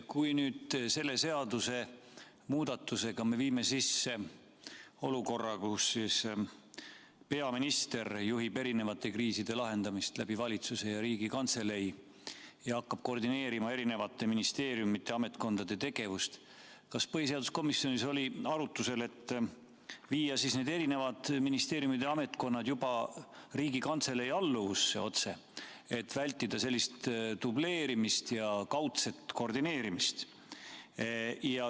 Kui nüüd selle seadusemuudatusega me viime sisse olukorra, kus peaminister juhib erinevate kriiside lahendamist valitsuse ja Riigikantselei kaudu ja hakkab koordineerima erinevate ministeeriumide ja ametkondade tegevust, kas põhiseaduskomisjonis oli arutusel, et viia need erinevad ministeeriumid ja ametkonnad juba otse Riigikantselei alluvusse, et vältida sellist dubleerimist ja kaudset koordineerimist?